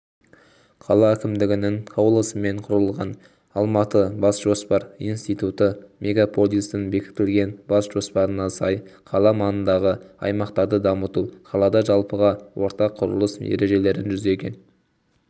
қала әкімдігінің қаулысымен құрылған алматыбасжоспар институты мегаполистің бекітілген бас жоспарына сай қала маңындағы аймақтарды дамыту қалада жалпыға ортақ құрылыс ережелерін жүзеге